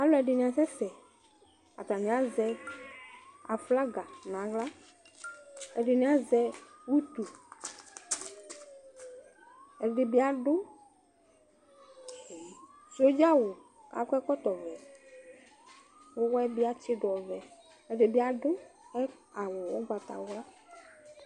Alʋ ɛdɩnɩ asɛsɛ atanɩ azɛ aflaga naɣla Ɛdɩnɩ azɛ ʋtʋ ɛdɩ bɩ adʋ sodzawʋ akɔ ɛkɔtɔ vɛ ʋwɔyɛ bɩ atsɩdʋ ɔvɛ ɛdɩ bɩ adʋ awʋ ʋgbatawla